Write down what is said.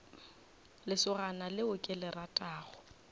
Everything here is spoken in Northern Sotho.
lesogana leo ke le ratago